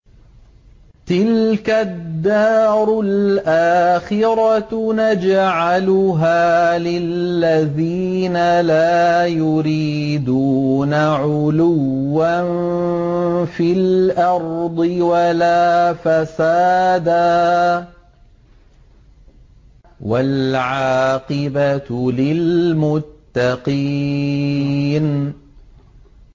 تِلْكَ الدَّارُ الْآخِرَةُ نَجْعَلُهَا لِلَّذِينَ لَا يُرِيدُونَ عُلُوًّا فِي الْأَرْضِ وَلَا فَسَادًا ۚ وَالْعَاقِبَةُ لِلْمُتَّقِينَ